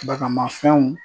Bagamafɛnw